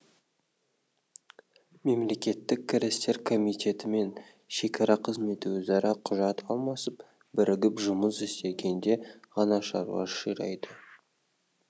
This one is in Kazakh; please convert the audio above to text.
мемлекеттік кірістер комитеті мен шекара қызметі өзара құжат алмасып бірігіп жұмыс істегенде ғана шаруа ширайды